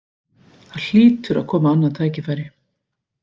Það hlýtur að koma annað tækifæri